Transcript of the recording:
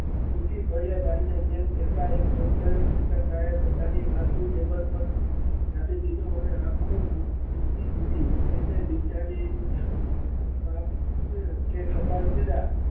તૂટી પડ્યા અને doctor સુનીતા શાહ એ પોતાના બાજુના table પર આપી દીધું અને આખો દિવસ